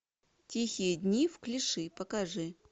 тихие дни в клиши покажи